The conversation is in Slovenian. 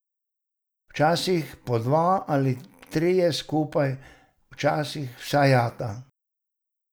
Včasih po dva ali trije skupaj, včasih vsa jata.